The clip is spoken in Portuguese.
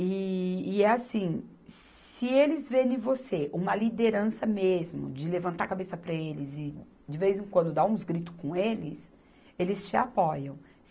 E, e é assim, se eles ver em você uma liderança mesmo, de levantar a cabeça para eles e, de vez em quando, dar uns gritos com eles, eles te apoiam.